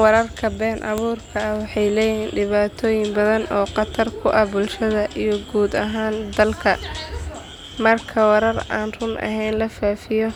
Wararka been abuurka ah waxay leeyihiin dhibaatooyin badan oo khatar ku ah bulshada iyo guud ahaan dalka. Marka warar aan run ahayn la faafiyo